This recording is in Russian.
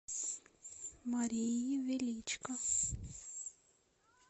марии величко